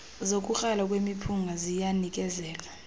sokukrala kwemiphunga ziyanikezelwa